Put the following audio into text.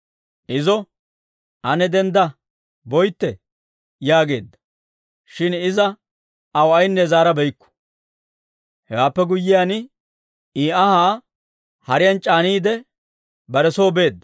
Izo, «Ane dendda; boytte» yaageedda; shin iza aw aynne zaarabeykku. Hewaappe guyyiyaan, izi anhaa hariyaan c'aaniide, bare soy beedda.